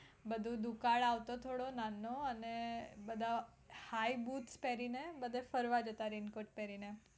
બધું દુકાળ આવો થોડો નાનો અને બધા high boot પેરીને બધે ફરવા જતા raincoat પહેરીને